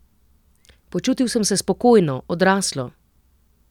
Počutil sem se spokojno, odraslo.